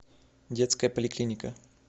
детская поликлиника